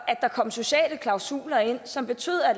at der kom sociale klausuler ind som betød at